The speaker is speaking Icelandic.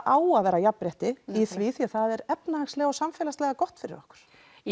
á að vera jafnrétti í því af því að það er efnahagslega og samfélagslega gott fyrir okkur